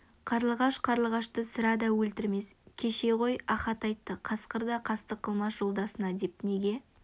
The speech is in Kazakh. қарлығаш қарлығашты сірә да өлтірмес кеше ғой ахат айтты қасқыр да қастық қылмас жолдасына деп неге